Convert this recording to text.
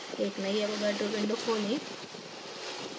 एक नयी avogadro window खोलें